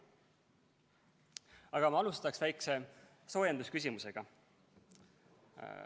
Aga ma alustan väikse soojendusküsimusega.